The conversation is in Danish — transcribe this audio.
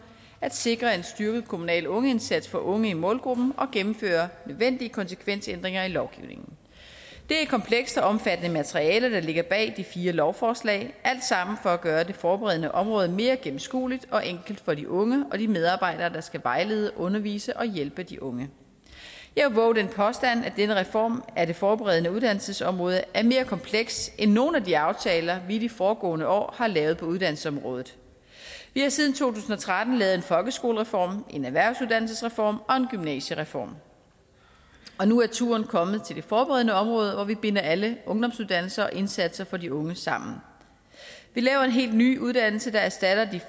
at sikre en styrket kommunal ungeindsats for unge i målgruppen og at gennemføre nødvendige konsekvensændringer i lovgivningen det er et kompleks og omfattende materiale der ligger bag de fire lovforslag alt sammen for at gøre det forberedende område mere gennemskueligt og enkelt for de unge og de medarbejdere der skal vejlede undervise og hjælpe de unge jeg vil vove den påstand at denne reform af det forberedende uddannelsesområde er mere kompleks end nogen af de aftaler vi i de foregående år har lavet på uddannelsesområdet vi har siden to tusind og tretten lavet en folkeskolereform en erhvervsuddannelsesreform og en gymnasiereform og nu er turen kommet til det forberedende område hvor vi binder alle ungdomsuddannelser og indsatser for de unge sammen vi laver en helt ny uddannelse der erstatter